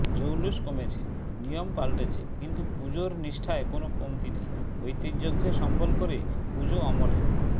জৌলুস কমেছে নিয়ম পাল্টেছে কিন্তু পুজোর নিষ্ঠায় কোনও কমতি নেই ঐতিহ্যকে সম্বল করে পুজো অমলিন